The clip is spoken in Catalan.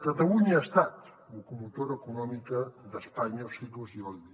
catalunya ha estat locomotora econòmica d’espanya els segles xix i xx